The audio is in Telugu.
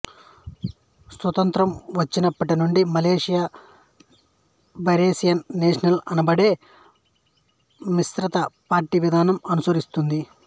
స్వతంత్రం వచ్చినప్పటి నుండి మలేషియా బారిసన్ నేషనల్ అనబడే మిశ్రిత పార్టీ విధానం అనుసరిస్తుంది